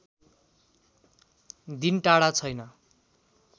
दिन टाढा छैन्